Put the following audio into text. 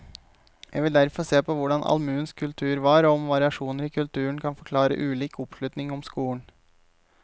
Jeg vil derfor se på hvordan allmuens kultur var, og om variasjoner i kulturen kan forklare ulik oppslutning om skolen.